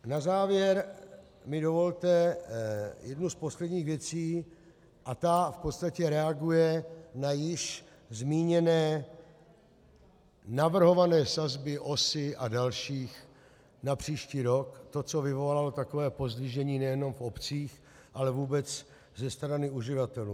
Na závěr mi dovolte jednu z posledních věcí a ta v podstatě reaguje na již zmíněné navrhované sazby OSA a dalších na příští rok, to, co vyvolalo takové pozdvižení nejenom v obcích, ale vůbec ze strany uživatelů.